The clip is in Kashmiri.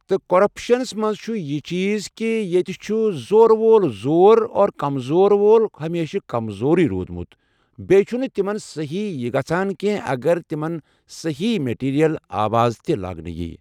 تہٕ کٔرپَشن منٛز چھ یہِ چیٖز کہِ ییٚتہِ چھُ زورٕ وول زوٚر اور کَمزور وول چھُ ہر ہمیشہٕ کَمزورٕے روٗدمُت بیٚیہِ چھُ نہٕ تِمن صحٮیح یہِ گژھن کینٛہہ اَگر تِمن صٮحیح میٹیٖریَل آواز یہِ لاگنہٕ۔